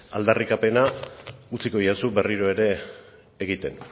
aldarrikapena utziko didazu berriro ere egiten